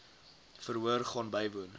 verhoor gaan bywoon